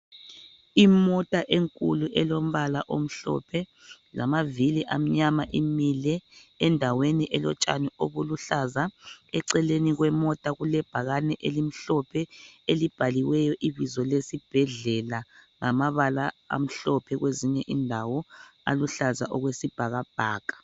Imota enkulu elombala omhlophe lamavili amnyama imile . Endaweni elotshani obuluhlaza .Eceleni kwemota kule bhakani elimhlophe elibhaliweyo ibizo lesibhedlela ngamabala amhlophe kwezinye indawo aluhlaza okwesibhakabhaka.